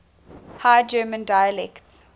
high german dialects